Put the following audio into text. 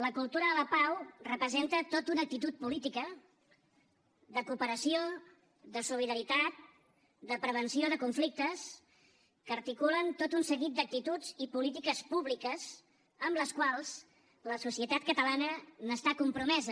la cultura de la pau representa tot una actitud política de cooperació de solidaritat de prevenció de conflictes que articulen tot un seguit d’actituds i polítiques públiques amb les quals la societat catalana està compromesa